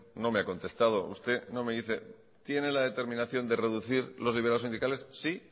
no me ha contestado usted no me dice tiene la determinación de reducir los liberados sindicales sí